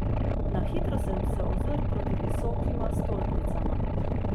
Na hitro sem se ozrl proti visokima stolpnicama.